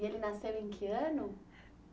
E ele nasceu em que ano?